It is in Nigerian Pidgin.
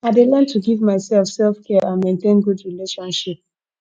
i dey learn to give myself selfcare and maintain good relationship